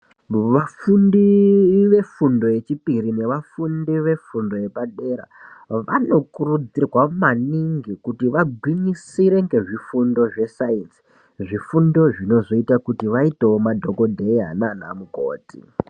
Vafundi vefundo yechipiri nevafundi vefundo yepadera, vanokurudzirwa maningi kuti vagwinyisire ngezvifundo zvesainzi , zvifundo zvinozoita kuti vaitewo madhokodheya naanamukoti.